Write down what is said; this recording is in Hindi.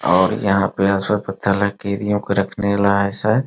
और यहाँ पे हैं पत्थर